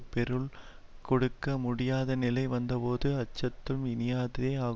பெருள் கொடுக்க முடியாதநிலை வந்தபோது அச்சத்தும் இனியாதே ஆகும்